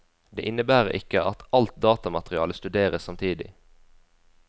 Det innebærer ikke at alt datamaterialet studeres samtidig.